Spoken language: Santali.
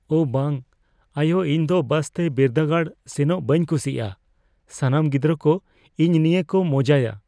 ᱳ ᱵᱟᱝ! ᱟᱭᱳ, ᱤᱧ ᱫᱚ ᱵᱟᱥ ᱛᱮ ᱵᱤᱨᱫᱟᱹᱜᱟᱲ ᱥᱮᱱᱚᱜ ᱵᱟᱹᱧ ᱠᱩᱥᱤᱭᱟᱜᱼᱟ ᱾ ᱥᱟᱱᱟᱢ ᱜᱤᱫᱽᱨᱟᱹ ᱠᱚ ᱤᱧ ᱱᱤᱭᱟᱹ ᱠᱚ ᱢᱚᱡᱟᱭᱟ !